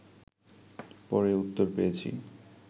পরে উত্তর পেয়েছি